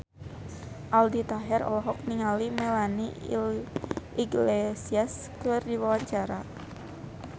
Aldi Taher olohok ningali Melanie Iglesias keur diwawancara